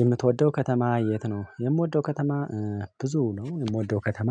የምትወደው ከተማ የት ነው? የምወደው ከተማ ብዙ ነው የምወደው ከተማ